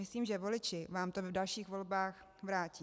Myslím, že voliči vám to v dalších volbách vrátí.